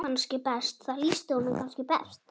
Það lýsti honum kannski best.